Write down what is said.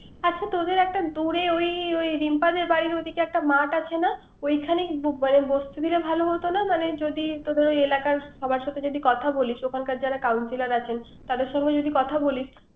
আপু তোদের একটা দূরে ওই রিম্পাদের বাড়ির ওই দিকে একটা মাঠ আছে না। ওইখানে বসতে দিলে ভালো হত না। মানে যদি এলাকার সাবার সাথে যদি কথা বলিস। ওখানকার যারা কাউন্সিলর আছেন । তাদের সংঘে যদি কথা বলিস